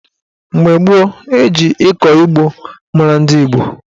Mgbe gboo, eji ịkọ ugbo mara ndị Igbo.